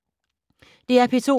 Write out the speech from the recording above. DR P2